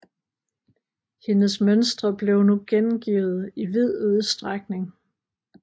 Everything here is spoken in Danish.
Hendes mønstre blev nu gengivet i vid udstrækning